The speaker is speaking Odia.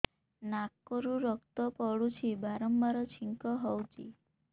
ନାକରୁ ରକ୍ତ ପଡୁଛି ବାରମ୍ବାର ଛିଙ୍କ ହଉଚି